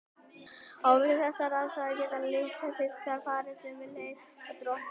Og við þessar aðstæður geta litlir fiskar farið sömu leið og droparnir.